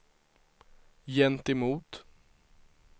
gentemot